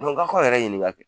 k'aw k'aw yɛrɛ ɲininka kɛ